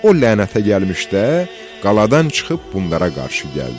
O lənətə gəlmişdə qaladan çıxıb bunlara qarşı gəldi.